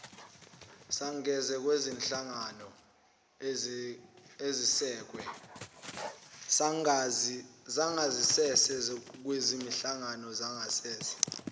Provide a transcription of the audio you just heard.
sangasese kwezinhlangano ezesekwe